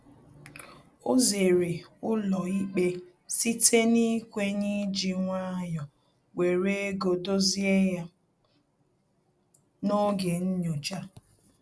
O zere ụlọ ikpe site n'ikwenye iji nwayọ were ego dozie ya n'oge nnyocha